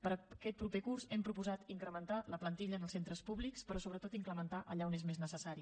per a aquest proper curs hem proposat incrementar la plantilla en els centres públics però sobretot incrementar allà on és més necessari